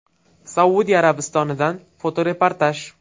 Saudiya Arabistonidan fotoreportaj.